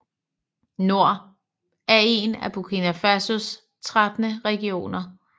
Nord er en af Burkina Fasos 13 regioner